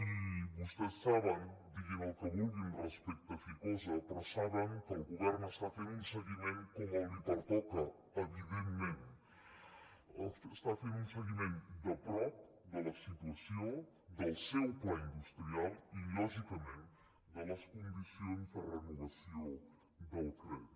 i vostès saben diguin el que vulguin respecte a ficosa però ho saben que el govern està fent un seguiment com li pertoca evidentment està fent un seguiment de prop de la situació del seu pla industrial i lògicament de les condicions de renovació del crèdit